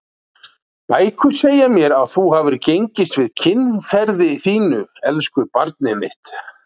Bækur segja mér að þú hafir gengist við kynferði þínu, elsku barnið mitt.